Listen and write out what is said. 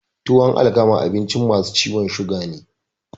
Tuwan alkama abinci masu ciwon suga ne